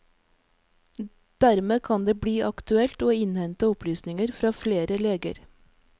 Dermed kan det bli aktuelt å innhente opplysninger fra flere leger.